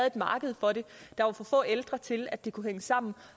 et marked for det der var for få ældre til at det kunne hænge sammen